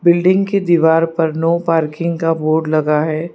Building की दीवार पर नो पार्किंग का बोर्ड लगा है।